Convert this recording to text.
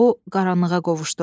O qaranlığa qovuşdu.